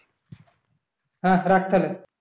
হ্যাঁ রাখ তাহলে